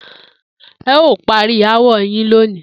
E̩ óò parí aáwò̩ yìí lónìí!